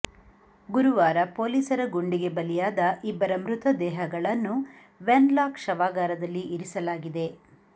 ಗುರುವಾರ ಪೊಲೀಸರ ಗುಂಡಿಗೆ ಬಲಿಯಾದ ಇಬ್ಬರ ಮೃತದೇಹಗಳನ್ನು ವೆನ್ ಲಾಕ್ ಶವಾಗಾರದಲ್ಲಿ ಇರಿಸಲಾಗಿದೆ